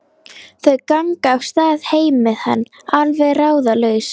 Þau ganga af stað heim með hann, alveg ráðalaus.